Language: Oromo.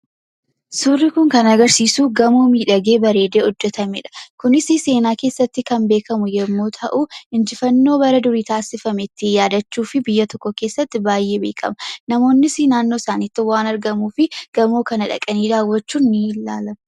Suurri kun kan agarsiisu gamoo miidhagee baredee hojjetame dha. Kunisi seenaa keessatti kan beekamu yommuu ta'u, injifannoo bara durii taasifame ittiin yaadachuufi biyya tokko keessatti baay'ee beekama. Namoonnis naannoo isaaniitti waan argamuuf gamoo kana dhaqanii daawwachuun ni ilaalama.